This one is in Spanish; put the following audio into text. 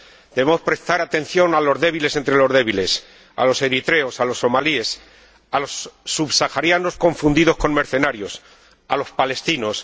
Debemos prestar atención a los débiles entre los débiles a los eritreos, a los somalíes, a los subsaharianos confundidos con mercenarios, a los palestinos.